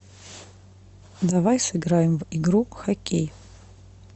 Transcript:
давай сыграем в игру хоккей